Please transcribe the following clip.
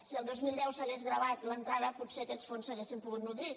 si el dos mil deu s’hagués gravat l’entrada potser aquests fons s’haurien pogut nodrir